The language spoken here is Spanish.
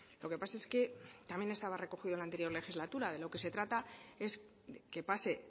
lo que pasa es que también estaba recogida en la anterior legislatura de lo que se trata es que pase